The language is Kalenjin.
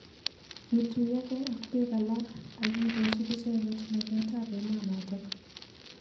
Kituyokei ak bik alak ak kikosub icheket maket ab emonotok.